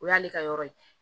O y'ale ka yɔrɔ ye